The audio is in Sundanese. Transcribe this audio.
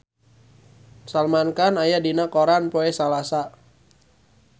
Salman Khan aya dina koran poe Salasa